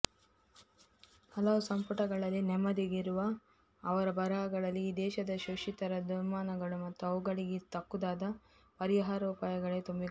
ಹಲವು ಸಂಪುಟಗಳಲ್ಲಿ ನಮ್ಮೆದುರಿಗಿರುವ ಅವರ ಬರಹಗಳಲ್ಲಿ ಈ ದೇಶದ ಶೋಷಿತರ ದುಮ್ಮಾನಗಳು ಮತ್ತು ಅವುಗಳಿಗೆ ತಕ್ಕುದಾದ ಪರಿಹಾರೋಪಾಯಗಳೇ ತುಂಬಿಕೊಂಡಿವೆ